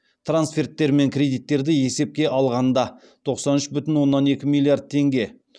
трансферттер мен кредиттерді есепке алғанда тоқсан үш бүтін оннан екі миллиард теңге